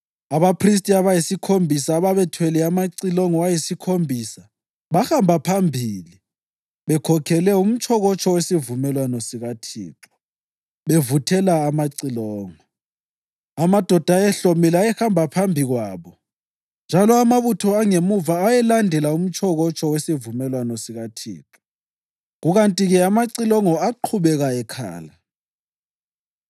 Abaphristi abayisikhombisa ababethwele amacilongo ayisikhombisa bahamba phambili bekhokhele umtshokotsho wesivumelwano sikaThixo, bevuthela amacilongo. Amadoda ayehlomile ayehamba phambi kwabo njalo amabutho angemuva ayelandela umtshokotsho wesivumelwano sikaThixo, kukanti-ke amacilongo aqhubeka ekhala.